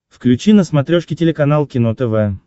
включи на смотрешке телеканал кино тв